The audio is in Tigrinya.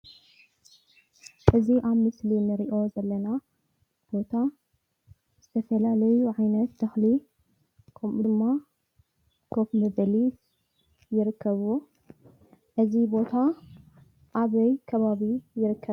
እዚ አብ ምስሊ እንሪኦ ዘለና ቦታ ዝተፈላለዩ ዓይነት ተኽሊ ከምኡ ድማ ኮፍ መበሊ ይርከብዎ። እዚ ቦታ አብይ ከባቢ ይርከብ ?